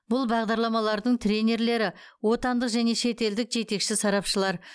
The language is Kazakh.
бұл бағдарламалардың тренерлері отандық және шетелдік жетекші сарапшылар